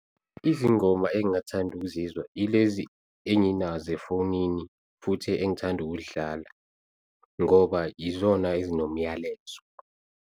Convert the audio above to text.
Izingoma engingathanda ukuzizwa ilezi enginazo efonini futhi engithanda ukuzidlala, ngoba yizona ezinomyalezo.